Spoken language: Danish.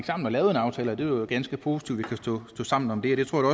sammen og lavede en aftale det var ganske positivt at vi kunne stå sammen om det det tror jeg